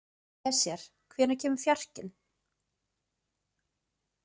Esjar, hvenær kemur fjarkinn?